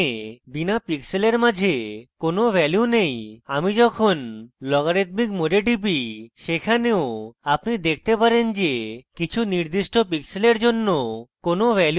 এখানে বিনা pixels মাঝে কোনো ভ্যালু নেই এবং আমি যখন লগারিদমিক mode টিপি সেখানেও আপনি দেখেন যে কিছু নির্দিষ্ট pixels জন্য কোনো ভ্যালু নেই